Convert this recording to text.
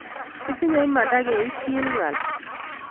Kitinye Imanda keityiin ng�al